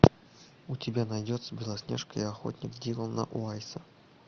у тебя найдется белоснежка и охотник дилана уайса